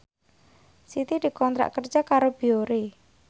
Siti dikontrak kerja karo Biore